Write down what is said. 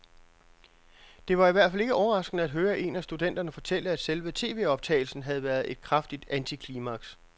Det var i hvert fald ikke overraskende at høre en af studenterne fortælle, at selve tvoptagelsen havde været et kraftigt antiklimaks.